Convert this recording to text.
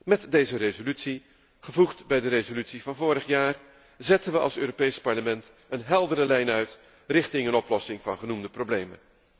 Met deze resolutie, gevoegd bij de resolutie van vorig jaar, zetten we als Europees Parlement een heldere lijn uit naar een oplossing van genoemde problemen.